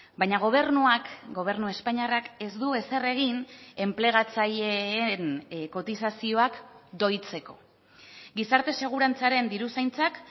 baina gobernuak gobernu espainiarrak ez du ezer egin enplegatzaileen kotizazioak doitzeko gizarte segurantzaren diruzaintzak